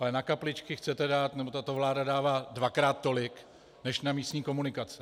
Ale na kapličky chcete dát, nebo tato vláda dává dvakrát tolik než na místní komunikace.